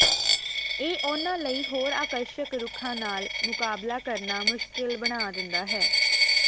ਇਹ ਉਹਨਾਂ ਲਈ ਹੋਰ ਆਕਰਸ਼ਕ ਰੁੱਖਾਂ ਨਾਲ ਮੁਕਾਬਲਾ ਕਰਨਾ ਮੁਸ਼ਕਲ ਬਣਾ ਦਿੰਦਾ ਹੈ